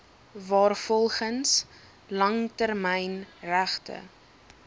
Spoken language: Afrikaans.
waarvolgens langtermyn regte